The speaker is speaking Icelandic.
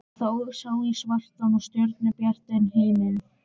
Það sá í svartan og stjörnubjartan himininn.